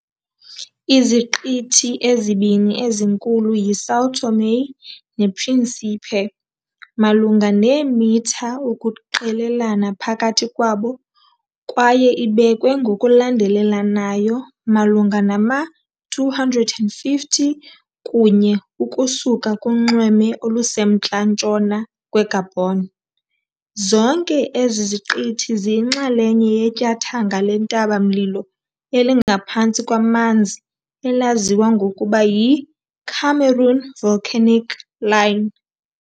Iziqithi ezibini ezinkulu yiSão Tomé nePríncipe, malunga neemitha ukuqelelana phakathi kwabo, kwaye ibekwe ngokulandelelanayo malunga nama-250 kunye ukusuka kunxweme olusemntla-ntshona kweGabon, zonke ezi ziqithi ziyinxalenye yetyathanga lentaba-mlilo elingaphantsi kwamanzi elaziwa ngokuba yiCameroon Volcanic Line.